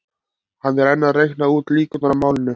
Hann er enn að reikna út líkurnar í máli